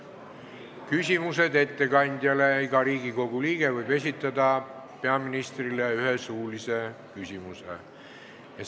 Siis on küsimused ettekandjale, iga Riigikogu liige võib esitada peaministrile ühe suulise küsimuse.